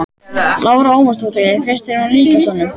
Lára Ómarsdóttir: Fannst þér hún líkjast honum?